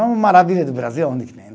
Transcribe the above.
É uma maravilha do Brasil, onde que nem.